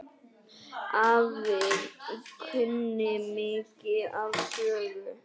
Afi kunni mikið af sögum.